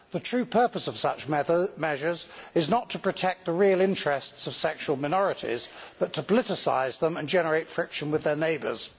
The true purpose of such measures is not to protect the real interests of sexual minorities, but to politicise them and generate friction with their neighbours.